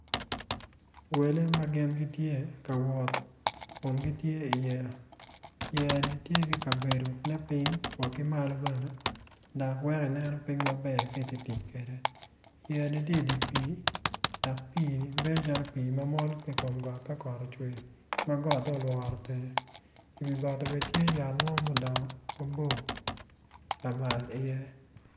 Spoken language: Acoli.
Welle ma gin gitye ka wot kun gitye iyeya winyo man opito tyene aryo odwoko angec winyo man oyaro bome kun tye ka tuk dogwinyo man tye ma yelo i wi gotti bene tye yat mo ma dongo mabor iye.